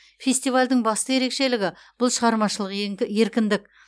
фестивальдің басты ерекшелігі бұл шығармашылық еркіндік